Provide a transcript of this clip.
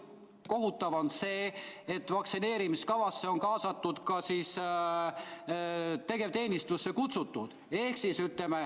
Kohutav on see, et vaktsineerimiskavasse on kaasatud ka tegevteenistusse kutsutud.